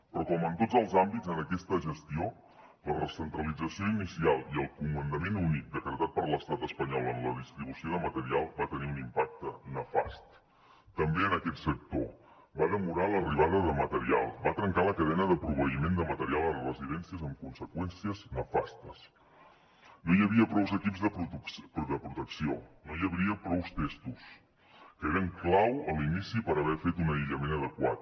però com en tots els àmbits en aquesta gestió la recentralització inicial i el comandament únic decretat per l’estat espanyol en la distribució de material van tenir un impacte nefast també en aquest sector va demorar l’arribada de material va trencar la cadena de proveïment de material a les residències amb conseqüències nefastes no hi havia prous equips de protecció no hi havia prous tests que eren clau a l’inici per haver fet un aïllament adequat